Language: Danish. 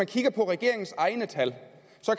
kigger på regeringens egne tal